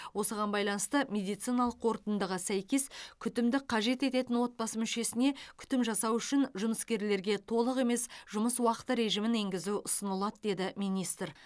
осыған байланысты медициналық қорытындыға сәйкес күтімді қажет ететін отбасы мүшесіне күтім жасау үшін жұмыскерлерге толық емес жұмыс уақыты режімін енгізу ұсынылады деді министр